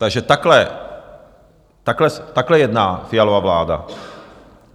Takže takhle, takhle jedná Fialova vláda.